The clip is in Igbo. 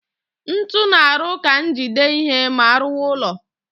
Ntu na-arụ ka njide ihe ma arụwa ụllọ